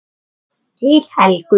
Til Helgu.